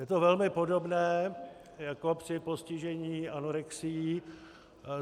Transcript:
Je to velmi podobné jako při postižení anorexií.